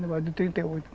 trinta e oito.